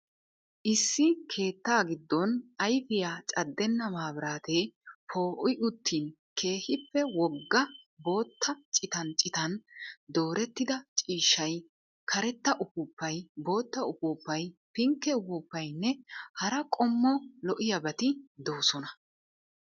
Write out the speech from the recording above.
Issi keetta gidon ayfiyaa cadenna mabiratee poo'i uttin keehiippe wogga bootta cittan cittan doorettida ciishshay, karetta ufuuppay, bootta ufuuppay, pinke ufuuppaynne hara qommo lo'iyaabatti doosonna.